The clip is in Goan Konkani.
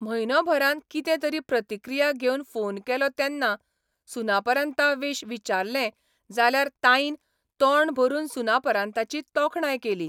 म्हयनोभरान कितें तरी प्रतिक्रिया घेवंक फोन केलो तेन्ना सुनापरान्ताविश विचारलें जाल्यार ताईन तोंड भरून सुनापरान्ताची तोखणाय केली.